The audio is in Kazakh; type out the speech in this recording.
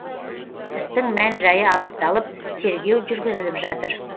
істің мән жайы анықталып тергеу жүргізіліп жатыр